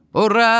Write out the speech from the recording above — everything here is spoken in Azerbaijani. Hurra!